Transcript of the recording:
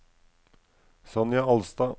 Sonja Alstad